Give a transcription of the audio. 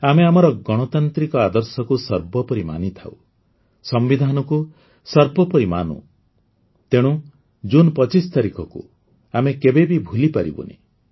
ଆମେ ଆମର ଗଣତାନ୍ତ୍ରିକ ଆଦର୍ଶକୁ ସର୍ବୋପରି ମାନିଥାଉ ସମ୍ବିଧାନକୁ ସର୍ବୋପରି ମାନୁ ତେଣୁ ଜୁନ୍ ୨୫ ତାରିଖକୁ ଆମେ କେବେ ବି ଭୁଲିପାରିବୁନି